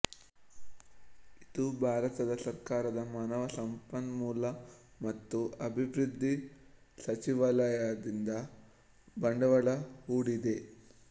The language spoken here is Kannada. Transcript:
ಇದು ಭಾರತದ ಸರ್ಕಾರದ ಮಾನವ ಸಂಪನ್ಮೂಲ ಮತ್ತು ಅಭಿವೃದ್ಧಿ ಸಚಿವಾಲಯದಿಂದ ಬಂಡವಾಳ ಹೂಡಿದೆ